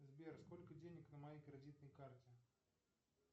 сбер сколько денег на моей кредитной карте